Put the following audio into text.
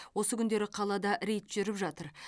осы күндері қалада рейд жүріп жатыр